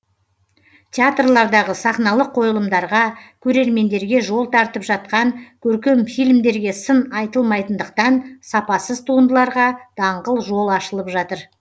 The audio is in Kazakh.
театрлардағы сахналық қойылымдарға көрермендерге жол тартып жатқан көркем фильмдерге сын айтылмайтындықтан сапасыз туындыларға даңғыл жол ашылып жатыр